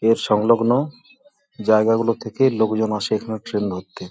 এর সংলগ্ন জায়গা গুলো থেকে লোকজন আসে এখানে ট্রেন ধরতে ।